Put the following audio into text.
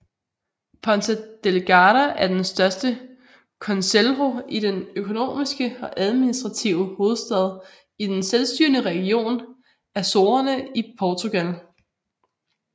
Ponta Delgada er den største concelho og den økonomiske og administrative hovedstad i den selvstyrende region Azorerne i Portugal